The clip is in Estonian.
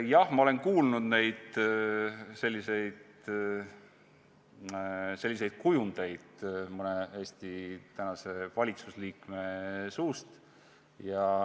Jah, ma olen kuulnud selliseid kujundeid mõne Eesti tänase valitsusliikme suust.